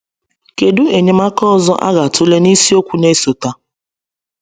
Kedu enyemaka ọzọ a ga-atụle n’isiokwu na-esote?